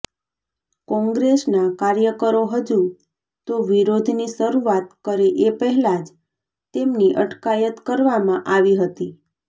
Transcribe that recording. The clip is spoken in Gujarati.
કોંગ્રેસના કાર્યકરો હજુ તો વિરોધની શરૂઆત કરે એ પહેલા જ તેમની અટકાયત કરવામાં આવી હતી